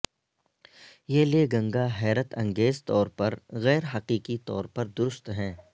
یہ لیگنگا حیرت انگیز طور پر غیر حقیقی طور پر درست ہیں